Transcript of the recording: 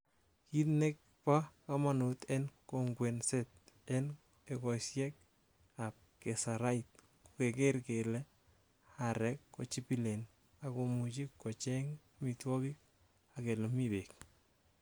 Kit nebo komonut en kokwengset, en ekosiek ab keserait, ko kegeer kele aarek ko chibilen, ak komuche kocheng amitwogik ak elemi beek.